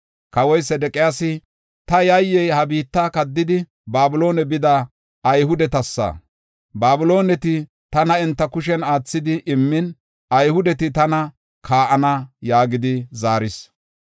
Kawoy Sedeqiyaasi, “Ta yayyey ha biitta kaddidi, Babiloone bida Ayhudetasa. Babilooneti tana enta kushen aathidi immin, Ayhudeti tana kaa7ana” yaagidi zaaris.